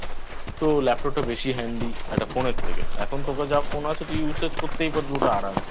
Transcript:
তো Laptop টা বেশি Handy একটা Phone এর থেকে এখন তোর যা Phone আছো তুই Use করতেই পারবি ওটা আরাম এ